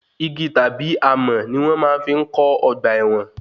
Igi tàbí amọ̀ ní wọn máa fi ń kó ọgbà ẹ̀wọ̀n.